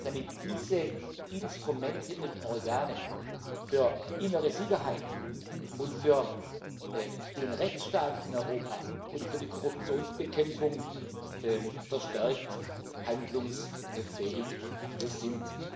damit diese Instrumente und Organe für innere Sicherheit und für den Rechtsstaat in Europa und für die Korruptionsbekämpfung verstärkt handlungsfähig sind.